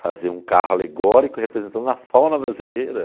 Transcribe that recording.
Fazer um carro alegórico representando a fauna brasileira.